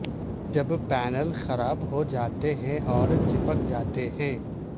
جب پینل خراب ہو جاتے ہیں اور چپک جاتے ہیں